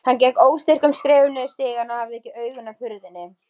Hann gekk óstyrkum skrefum niður stigann og hafði ekki augun af hurðinni.